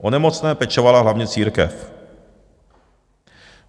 O nemocné pečovala hlavně církev.